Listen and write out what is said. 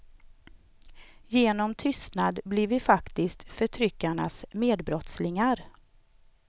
Genom tystnad blir vi faktiskt förtryckarnas medbrottslingar.